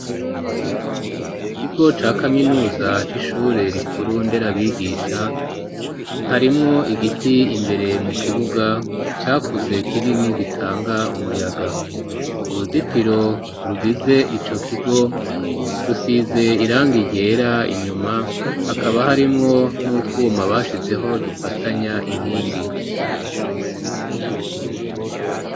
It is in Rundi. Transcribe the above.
Mu kigo ca kaminuza c'ishure rikuru nderabigisha harimwo igiti imbere mu kibuga cakuze kinini gitanga umuyaga uruzitiro rugize ico kigo rusize irangi ryera inyuma hakaba harimwo n'utwuma bashizeho dufatanya inkingi